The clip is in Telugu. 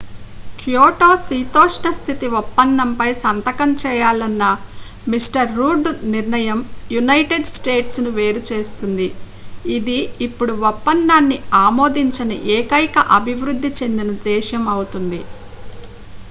క్యోటో శీతోష్ణస్థితి ఒప్పందంపై సంతకం చేయాలన్న మిస్టర్ రూడ్ నిర్ణయం యునైటెడ్ స్టేట్స్ ను వేరుచేస్తుంది ఇది ఇప్పుడు ఒప్పందాన్ని ఆమోదించని ఏకైక అభివృద్ధి చెందిన దేశం అవుతుంది